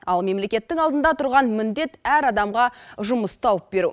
ал мемлекеттің алдында тұрған міндет әр адамға жұмыс тауып беру